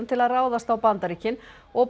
til að ráðast á Bandaríkin og